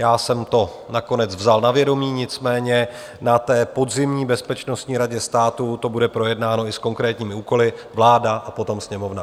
Já jsem to nakonec vzal na vědomí, nicméně na té podzimní bezpečnostní radě státu to bude projednáno i s konkrétními úkoly, vláda a potom Sněmovna.